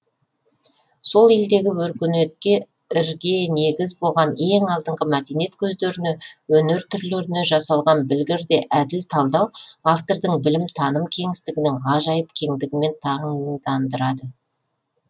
сол елдегі өркениетке ірге негіз болған ең алдыңғы мәдениет көздеріне өнер түрлеріне жасалған білгір де әділ талдау автордың білім таным кеңістігінің ғажайып кеңдігімен таңдандырады